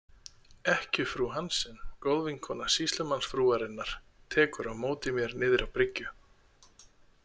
Ekkjufrú Hansen, góðvinkona sýslumannsfrúarinnar, tekur á móti mér niðri á bryggju.